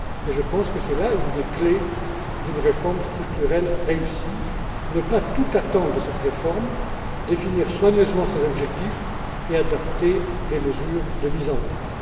Je pense que c'est là une des clés d'une réforme structurelle réussie ne pas tout en attendre, définir soigneusement ses objectifs et adapter les mesures de mise en œuvre.